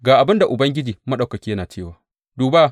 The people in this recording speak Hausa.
Ga abin da Ubangiji Maɗaukaki yana cewa, Duba!